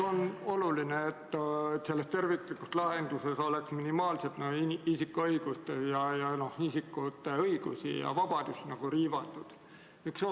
On oluline, et selles terviklikus lahenduses oleks isikute õigusi ja vabadusi riivatud minimaalselt.